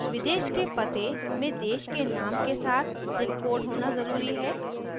विदेश के पते foreign addresses में देश के name के साथ zip code होना ज़रूरी है